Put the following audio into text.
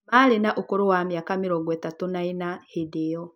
Maarĩ na ũkũrũ wa mĩaka mĩrongo ĩtatũ na ĩna hĩndĩ ĩyo